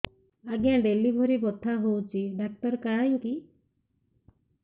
ଆଜ୍ଞା ଡେଲିଭରି ବଥା ହଉଚି ଡାକ୍ତର କାହିଁ କି